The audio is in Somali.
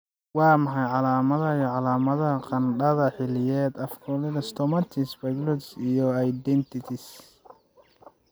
Waa maxay calaamadaha iyo calaamadaha qandhada xilliyeed, aphthous stomatitis, pharyngitis iyo adenitis?